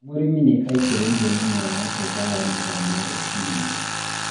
mũrĩmi nĩ aĩtĩrĩirie mĩmera yake ndawa mathaa ma rũcĩnĩ